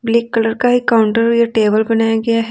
Black colour का ही counter या टेबल बनाया गया है।